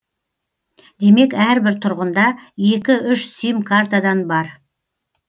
демек әрбір тұрғында екі үш сим картадан бар